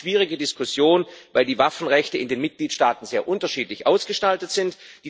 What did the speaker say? Es war eine schwierige Diskussion, weil die Waffenrechte in den Mitgliedstaaten sehr unterschiedlich ausgestaltet sind.